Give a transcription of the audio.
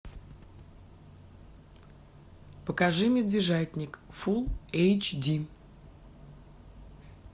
покажи медвежатник фулл эйч ди